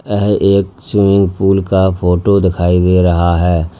यह एक swimming pool का फोटो दिखाई दे रहा है।